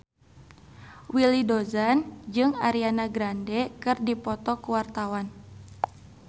Willy Dozan jeung Ariana Grande keur dipoto ku wartawan